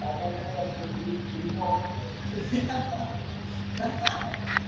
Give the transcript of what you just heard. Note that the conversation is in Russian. погоняло тебе будет лимон короче